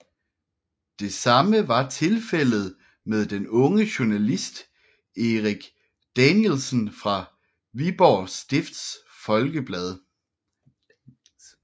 Det samme var Tilfældet med den unge Journalist Eric Danielsen fra Viborg Stifts Folkeblad